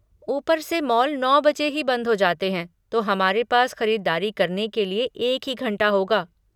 ऊपर से मॉल नौ बजे ही बंद हो जाते है तो हमारे पास ख़रीदारी करने के लिए एक ही घंटा होगा।